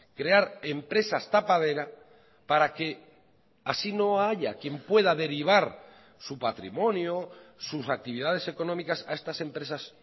crear empresas tapadera para que así no haya quien pueda derivar su patrimonio sus actividades económicas a estas empresas